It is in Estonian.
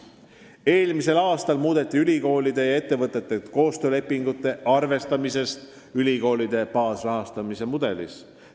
Eelmisel aastal muudeti ülikoolide ja ettevõtete koostöölepingute arvestamist ülikoolide baasrahastamise mudelis.